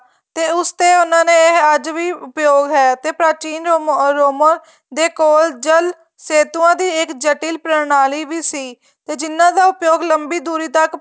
ਤੇ ਉਸ ਤੇ ਉਹਨਾ ਨੇ ਅੱਜ ਵੀ ਪ੍ਰਯੋਗ ਹੈ ਤੇ ਪ੍ਰਾਚੀਨ ਰੋਮਨ ਦੇ ਕੋਲ ਜੱਲ ਸੈਤੂਆ ਦੀ ਇੱਕ ਜਟਿਲ ਪ੍ਰਣਾਲੀ ਵੀ ਸੀ ਤੇ ਜਿਹਨਾ ਦਾ ਉਹਯੋਗ ਲੰਬੀ ਦੂਰੀ ਤੱਕ